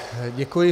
Děkuji.